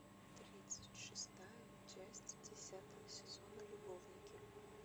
тридцать шестая часть десятого сезона любовники